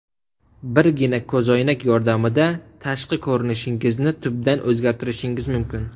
Birgina ko‘zoynak yordamida tashqi ko‘rinishingizni tubdan o‘zgartirishingiz mumkin.